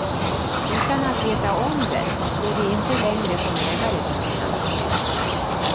Utan att veta om det står de inte längre som ägare till sina hem.